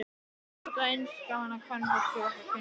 Mér þótti að eins gaman að kvenfólki vegna kynsins.